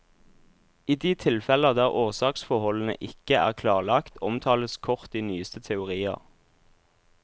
I de tilfeller der årsaksforholdene ikke er klarlagt, omtales kort de nyeste teorier.